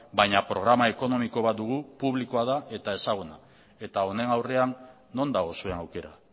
baina programa ekonomiko bat dugu publikoa da eta ezaguna eta honen aurrean non dago zuen aukera